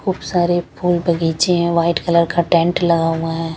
खूब सारे फूल बगीचे है वाइट कलर का टेंट लगा हुआ है ।